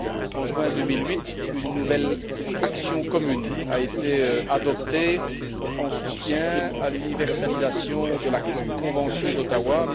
En juin 2008, une nouvelle action commune a été adoptée en soutien à l'universalisation de la convention d'Ottawa.